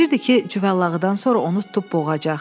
Bilirdi ki, cüvəllağıdan sonra onu tutub boğacaq.